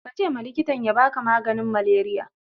kace ma likitan abaka maganin maleriya